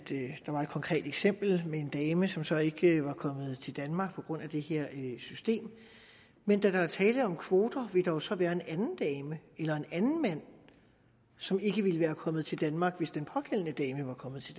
konkret eksempel med en dame som så ikke var kommet til danmark på grund af det her system men da der er tale om kvoter vil der så være en anden dame eller en anden mand som ikke ville være kommet til danmark hvis den pågældende dame var kommet til